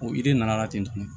O yiri nana la ten